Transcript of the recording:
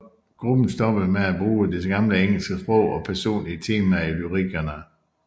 Gruppen stoppede med at bruge det gamle engelske sprog og personlige temaer i lyrikkerne